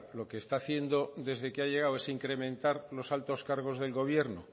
lo que está haciendo desde que ha llegado es incrementar los altos cargos del gobierno